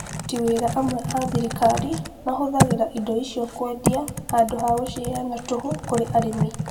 aruti wĩra amwe athirikari mahũthagĩra indo icio kũendia handũ ha gũciheana tũhũ kũri arĩmi